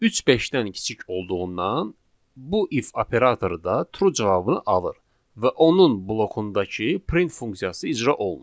Üç beşdən kiçik olduğundan bu if operatoru da true cavabını alır və onun blokundakı print funksiyası icra olunur.